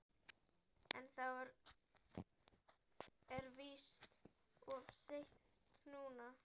En það er víst of seint núna.